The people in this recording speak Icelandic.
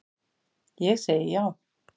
Ég segi já.